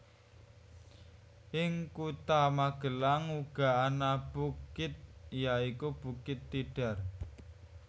Ing kutha Magelang uga ana bukit ya iku bukit Tidar